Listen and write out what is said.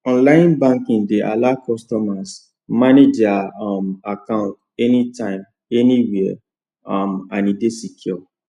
online banking dey allow customers manage their um account anytime anywhere um and e dey secure